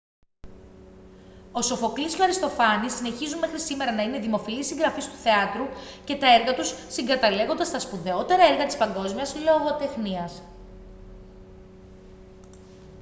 ο σοφοκλής και ο αριστοφάνης συνεχίζουν μέχρι σήμερα να είναι δημοφιλείς συγγραφείς του θεάτρου και τα έργα τους συγκαταλέγονται στα σπουδαιότερα έργα της παγκόσμιας λογοτεχνίας